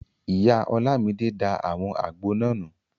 Ìyá Ọlámidé da àwọn àgbo náà nù